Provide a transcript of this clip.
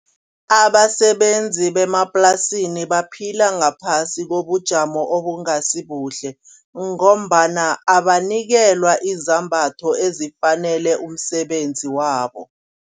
Abasebenzi bemaplasini baphila ngaphasi kobujamo obungasibuhle ngombana abanikelwa izambatho ezifanele umsebenzi wabo.